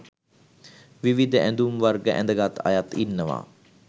විවිධ ඇඳුම් වර්ග ඇඳගත් අයත් ඉන්නවා